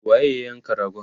waye ya yanka ragon?